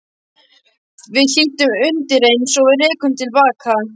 Við hlýddum undireins og rerum til baka.